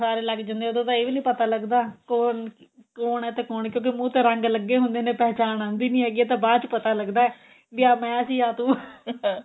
ਸਾਰੇ ਲੱਗ ਜਾਂਦੇ ਨੇ ਉਦੋਂ ਤਾਂ ਇਹ ਵੀ ਨਹੀਂ ਪਤਾ ਲੱਗਦਾ ਕੋਣ ਕੋਣ ਏ ਤੇ ਕੋਣ ਕਿਉਂਕਿ ਮੂੰਹ ਤੇ ਰੰਗ ਲੱਗੇ ਹੁੰਦੇ ਨੇ ਪਹਿਚਾਣ ਆਂਦੀ ਨਹੀਂ ਹੈਗੀ ਇਹ ਤਾਂ ਬਾਅਦ ਚ ਪਤਾ ਲੱਗਦਾ ਵੀ ਆਹ ਮੈਂ ਸੀ ਆਹ ਤੂੰ